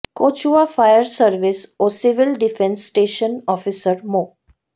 Kachua fire service ও civil defence station officer মো